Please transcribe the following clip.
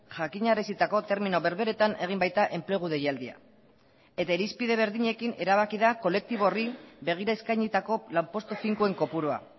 jakinarazitako termino berberetan egin baita enplegu deialdia eta irizpide berdinekin erabaki da kolektibo horri begira eskainitako lanpostu finkoen kopurua